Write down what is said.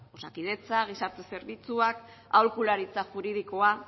osakidetza gizarte zerbitzuak aholkularitza juridikoa